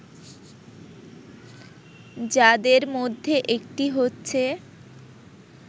যাদের মধ্যে একটি হচ্ছে